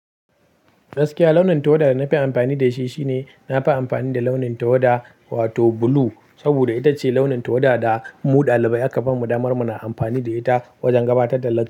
Gaskiya launin tawada da na fi amfani da shi shine na fi amfani da launin tawada wato blue. Saboda ita ce launin tawada da mu ɗalibai aka bamu damar mu na amfani da ita wajen gabatar da latti.